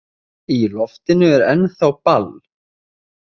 Í loftinu er ennþá ball.